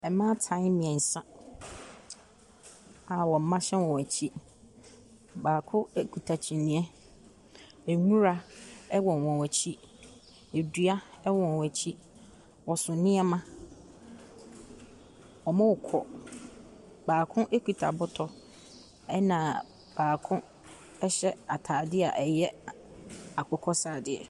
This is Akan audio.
Mmaatan mmiɛnsa a wɔn mma hyɛ wɔn akyi. Baako ekuta kyiniiɛ, nwura ɛwɔ wɔn akyi. Edua ɛwɔ wɔn akyi. Ɔso nnoɔma . Ɔrekɔ. Baako kuta bɔtɔ ɛna baako hyɛ ataadeɛ a ɛyɛ akokɔ sradeɛ.